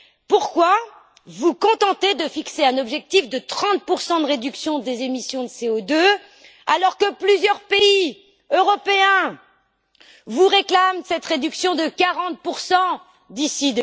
Pourquoi vous contenter de fixer un objectif de 30 de réduction des émissions de CO2 alors que plusieurs pays européens vous réclament cette réduction de 40 d'ici